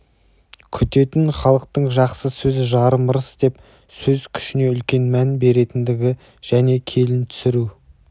күтетін халықтың жақсы сөз жарым ырыс деп сөз күшіне үлкен мән беретіндігі және келін түсіру